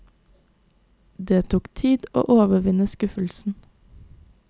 Det tok tid å overvinne skuffelsen.